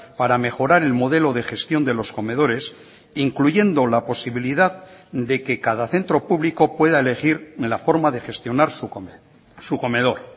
para mejorar el modelo de gestión de los comedores incluyendo la posibilidad de que cada centro público pueda elegir la forma de gestionar su comedor